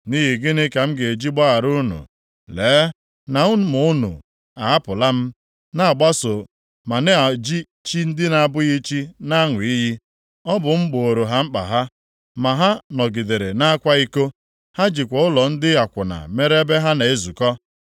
“Nʼihi gịnị ka m ga-eji gbaghara unu? Lee na ụmụ unu ahapụla m, na-agbaso, ma na-eji chi ndị na-abụghị chi na-aṅụ iyi. Ọ bụ m gbooro ha mkpa ha, ma ha nọgidere na-akwa iko. Ha jikwa ụlọ ndị akwụna mere ebe ha na-ezukọ.